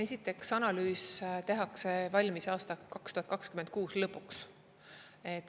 Eiteks, analüüs tehakse valmis aasta 2026 lõpuks.